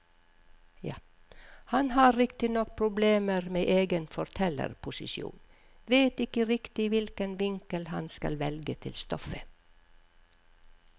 Han har riktignok problemer med egen fortellerposisjon, vet ikke riktig hvilken vinkel han skal velge til stoffet.